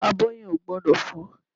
Abọ́ yẹn ò gbọ́dọ̀ fọ́